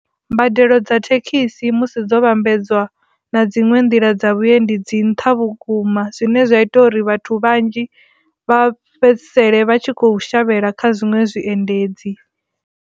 Mbadelo dza thekhisi musi dzo vhambedzwa na dziṅwe nḓila dza vhuendi dzi nṱha vhukuma zwine zwa ita uri vhathu vhanzhi vha fhedzisele vha tshi kho shavhela kha zwiṅwe zwiendedzi.